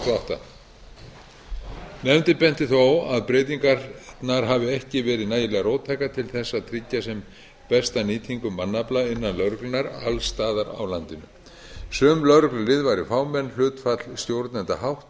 tvö þúsund og átta nefndin benti þó á að breytingarnar hafi ekki verið nægilega róttækar til þess að tryggja sem besta nýtingu mannafla innan lögreglunnar alls staðar á landinu sum lögreglulið væru fámenn hlutfall stjórnenda hátt